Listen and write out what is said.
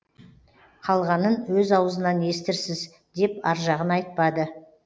қалғанын өз аузынан естірсіз деп аржағын айтпады